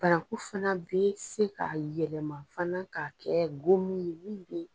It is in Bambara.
Bananku fana bɛ se ka yɛlɛma fana k'a kɛ gomin ye, min be